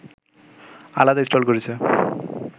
আলাদা স্টল করেছে